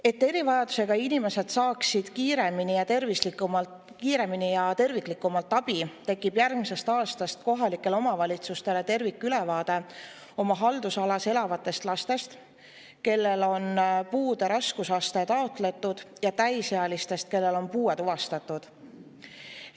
Et erivajadusega inimesed saaksid kiiremini ja terviklikumalt abi, tekib järgmisest aastast kohalikel omavalitsustel tervikülevaade oma haldusalas elavatest lastest, kellele on puude raskusaste taotletud, ja täisealistest, kellel on puue tuvastatud.